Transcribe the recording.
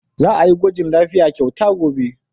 Za a yi gwajin lafiya kyauta gobe.